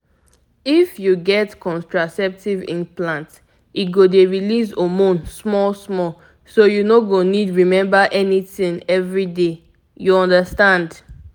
if you get contraceptive implant e go dey release hormone small-small so you no go need remember anything every day — you understand.